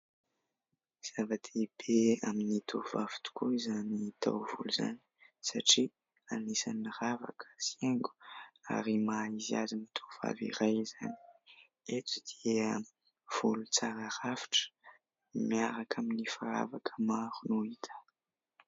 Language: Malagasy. Zava-dehibe amin'ny tovovavy tokoa izany taovolo izany satria anisany ravaka sy haingo ary maha izy azy ny tovovavy iray izany, eto dia volo tsara rafitra miaraka amin'ny firavaka maro no hita.